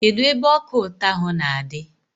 Kedụ ebe ọka ụtọ ahụ na-adị?